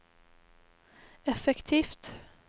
effektivt